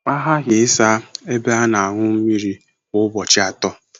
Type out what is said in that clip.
A ghaghị ịsa ebe a na-aṅụ mmiri kwa ụbọchị atọ.